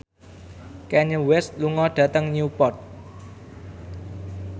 Kanye West lunga dhateng Newport